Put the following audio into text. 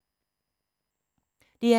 DR2